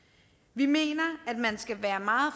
vi mener at man skal være meget